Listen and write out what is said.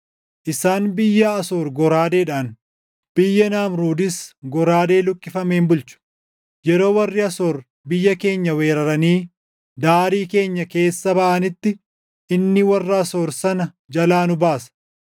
Isaan biyya Asoor goraadeedhaan biyya Naamruudis goraadee luqqifameen bulchu. Yeroo warri Asoor biyya keenya weeraranii daarii keenya keessa baʼanitti, inni warra Asoor sana jalaa nu baasa.